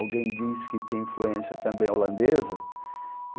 Alguém disse que tinha influência também holandesa. E